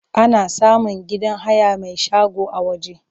Ana samun gidan haya mai shago a waje.